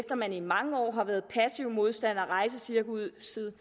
at man i mange år har været passive modstandere af rejsecirkusset